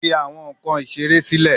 Fi awọn nkan isere silẹ